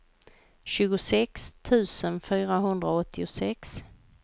tjugosex tusen fyrahundraåttiosex